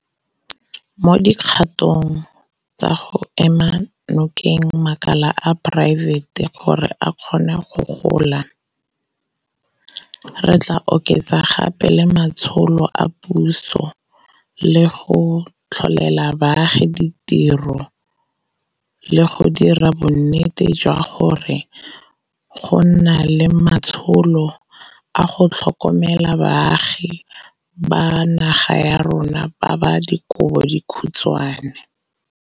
Mo dikgatong tsa go ema nokeng makala a poraefete gore a kgone go gola, re tla oketsa gape le matsholo a puso a go tlholela baagi ditiro le go dira bonnete jwa gore go nna le matsholo a go tlhokomela baagi ba naga ya rona ba ba dikobo dikhutshwane.